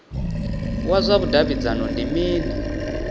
wa zwa vhudavhidzano ndi mini